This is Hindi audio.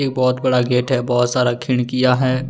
बहोत बड़ा गेट है बहोत सारा खिड़कियां है।